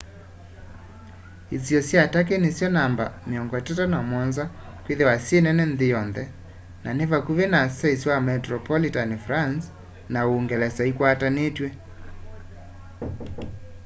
isio sya turkey nisyo namba 37 kwithwa syi nene nthi yonthe na ni vakuvi na saisi wa metropolitan france na uungelesa ikwatanitw'e